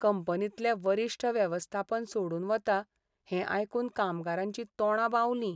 कंपनींतले वरिश्ठ वेवस्थापन सोडून वता हें आयकून कामगारांचीं तोंडां बावलीं.